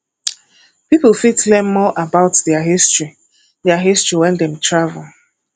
pipo fit learn more about their history their history when dem travel